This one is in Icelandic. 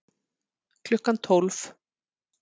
Klukkan tólf